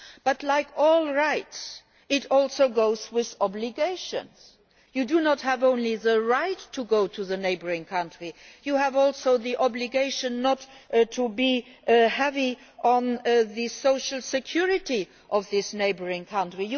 But, like all rights, it also comes with obligations. You not only have the right to go to the neighbouring country, you also have the obligation not to depend heavily on the social security of this neighbouring country.